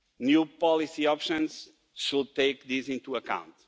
New policy options should take this into account.